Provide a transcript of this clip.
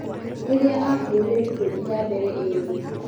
Rĩriĩa akuuire mĩtũngi ya mbere ĩĩrĩ.